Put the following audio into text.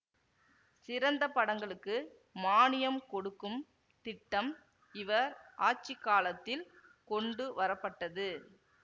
சிறந்த படங்களுக்கு மானியம் கொடுக்கும் திட்டம் இவர் ஆட்சி காலத்தில் கொண்டு வரப்பட்டது